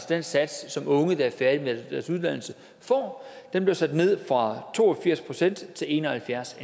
den sats som unge der er færdige med deres uddannelse får den blev sat ned fra to og firs procent til en og halvfjerds